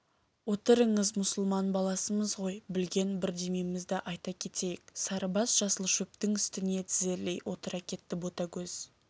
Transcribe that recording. отырыңыз мұсылман баласымыз ғой білген бірдемемізді айта кетейік сарыбас жасыл шөптің үстіне тізерлей отыра кетті ботагөз